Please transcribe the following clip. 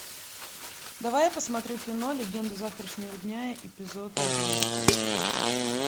давай я посмотрю кино легенды завтрашнего дня эпизод одиннадцать